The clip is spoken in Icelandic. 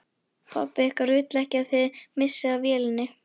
Pabbi ykkar vill ekki að þið missið af vélinni